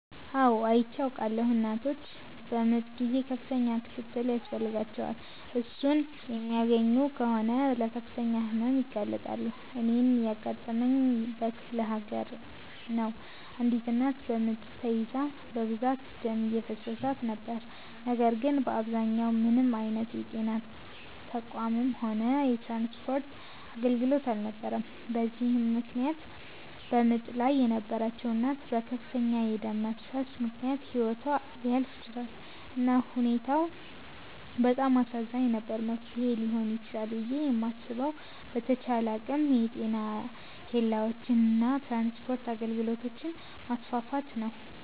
አው አይቼ አዉቃለሁ። እናቶች በምጥ ጊዜ ከፍተኛ ክትትል ያስፈልጋቸዋል። እሱን የማያገኙ ከሆነ ለከፍተኛ ህመም ይጋለጣሉ። እኔን ያጋጠመኝ በክፍለሀገር ነው አንዲት እናት በምጥ ተይዛ በብዛት ደም እየፈሰሳት ነበር ነገር ግን በአከባቢው ምንም አይነት የጤና ተቋምም ሆነ የትራንስፖርት አገልግሎት አልነበረም በዚህም ምክነያት በምጥ ላይ የነበረችዉ እናት በከፍተኛ የደም መፍሰስ ምክነያት ህይወቷ ሊያልፍ ችሏል። እና ሁኔታው በጣም አሳዛኝ ነበር። መፍትሔ ሊሆን ይችላል ብየ የማስበዉ በተቻለ አቅም የጤና ኬላወችን እና የትራንስፖርት አገልግሎቶችን ማስፋፋት ነዉ።